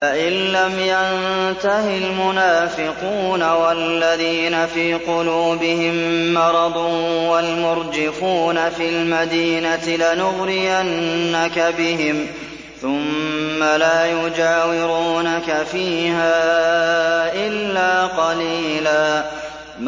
۞ لَّئِن لَّمْ يَنتَهِ الْمُنَافِقُونَ وَالَّذِينَ فِي قُلُوبِهِم مَّرَضٌ وَالْمُرْجِفُونَ فِي الْمَدِينَةِ لَنُغْرِيَنَّكَ بِهِمْ ثُمَّ لَا يُجَاوِرُونَكَ فِيهَا إِلَّا قَلِيلًا